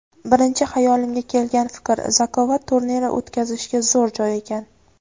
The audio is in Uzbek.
birinchi xayolimga kelgan fikr: Zakovat turniri o‘tkazishga zo‘r joy ekan.